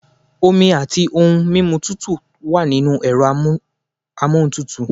Omi àti ohun mímu tútù wà nínú ẹ̀rọ amóhuntutù.